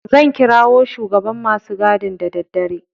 Zan kirawo shugaban masu gadin da daddare.